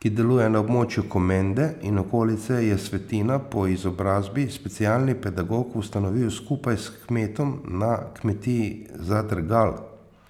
ki deluje na območju Komende in okolice, je Svetina, po izobrazbi specialni pedagog, ustanovil skupaj s kmetom na kmetiji Zadrgal.